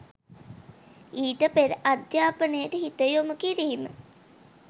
ඊට පෙර අධ්‍යාපනයට හිත යොමු කිරීම